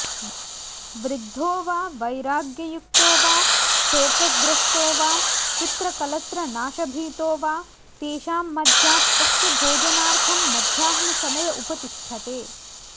वृद्धो वा वैराग्ययुक्तो वा शोकग्रस्तो वा पुत्रकलत्रनाशभीतो वा तेषां मध्यात्तस्य भोजनार्थं मध्याह्नसमय उपतिष्ठते